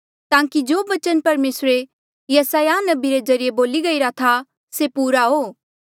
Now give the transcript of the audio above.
ताकि जो बचन परमेसरे यसायाह नबी रे ज्रीए बोल्या गईरा था से पूरा हो